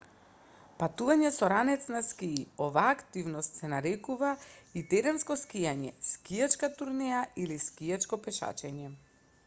патување со ранец на скии оваа активност се нарекува и теренско скијање скијачка турнеја или скијачко пешачење